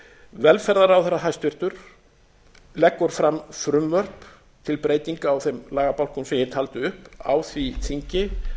velferðarráðherra hæstvirtur leggur fram frumvörp til breytinga á þeim lagabálkum sem ég taldi upp á því þingi